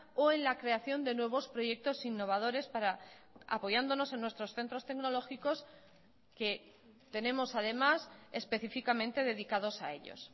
o en la creación de nuevos proyectos innovadores para apoyándonos en nuestros centros tecnológicos que tenemos además específicamente dedicados a ellos